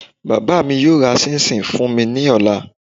Bàbá mi yóò ra ṣíínṣin fún mi ní ọ̀la